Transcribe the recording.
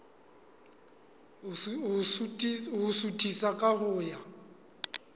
ho suthisa ka ho ya